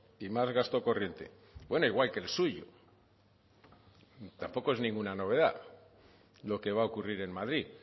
y más gasto corriente bueno igual que el suyo tampoco es ninguna novedad lo que va a ocurrir en madrid